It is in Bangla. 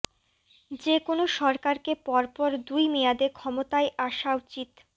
যেকোনো সরকারকে পর পর দুই মেয়াদে ক্ষমতায় আসা উচিত